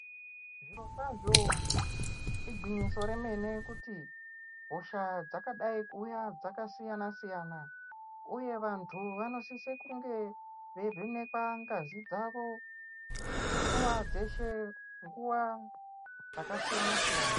Zvirokwazvo, igwinyiso remene kuti hosha dzakadai kuuya dzakasiyana-siyana, uye vantu vanosise kunge veivhenekwa ngazi dzavo, nguva dzeshe, nguva dzakasiyana-siyana.